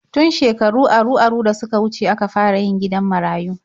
Tun shekaru aru-aru da suka wuce aka fara yin gidan marayu.